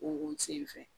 O sen fɛ